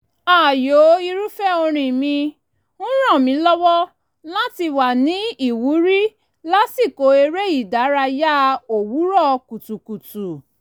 ààyò irúfẹ́ orin mi ń ràn mí lọ́wọ́ láti wà ní ìwúrí lásìkò eré ìdárayá òwúrọ̀ kùtùkùtù